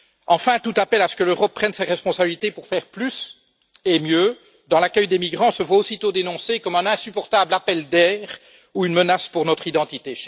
Enfin, tout appel à ce que l'Europe prenne ses responsabilités pour faire plus et mieux dans l'accueil des migrants se voit aussitôt dénoncé comme un insupportable appel d'air ou une menace pour notre identité.